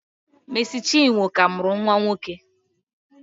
Mercy chinwo ka muru nwa nwoke.